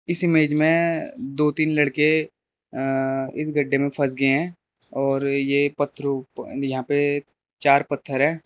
इस इमेज में दो तीन लड़के इस गड्ढे में फस गए हैं और यह पथरों नहीं यहां पे चार पत्थर है।